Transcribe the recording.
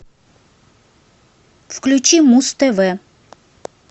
включи муз тв